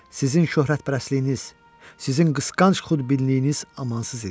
Sizin şöhrətpərəstliyiniz, sizin qısqanc xudbinliyiniz amansız idi.